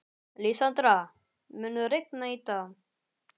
Lísandra, mun rigna í dag?